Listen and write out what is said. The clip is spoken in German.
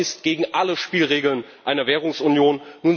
Das ist gegen alle Spielregeln einer Währungsunion.